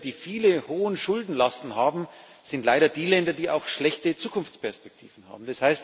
All jene Länder, die hohe Schuldenlasten haben, sind leider auch die Länder, die schlechte Zukunftsperspektiven haben.